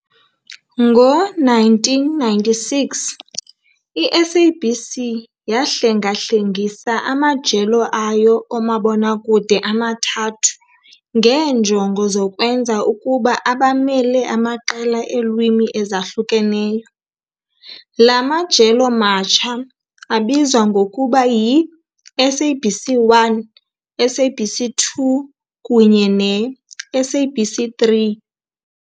Ngo-1996, i-SABC yahlengahlengisa amajelo ayo omabonakude amathathu ngeenjongo zokwenza ukuba abamele amaqela eelwimi ezahlukeneyo. La majelo matsha abizwa ngokuba yi-SABC 1, SABC 2 kunye ne-SABC 3.